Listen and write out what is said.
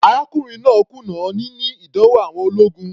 Arákùnrin náà kùnà níní ìdánwò àwọn ológun.